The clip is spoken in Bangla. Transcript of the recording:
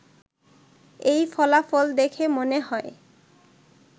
এই ফলাফল দেখে মনে হয়